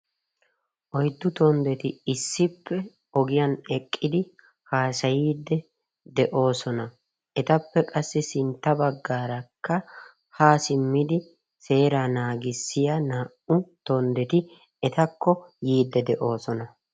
Oyddu tonddeti issippe ogiyan eqqidi haasayidi de'oosona. Etappe qassi sintta baggaarakka haa simmidi seeraa naagissiya naa''u tonddeeti etakko yiidi de'oosona.